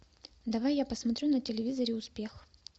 давай я посмотрю на телевизоре успех